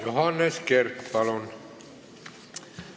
Johannes Kert, palun!